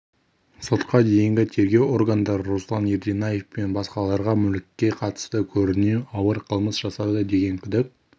сотқа дейінгі тергеу органдары руслан ерденаев пен басқаларға мүлікке қатысты көрінеу ауыр қылмыс жасады деген күдік